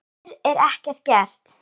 Fyrr er ekkert gert.